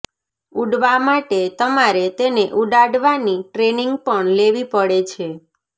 ઉડવા માટે તમારે તેને ઉડાડવાની ટ્રેનિંગ પણ લેવી પડે છે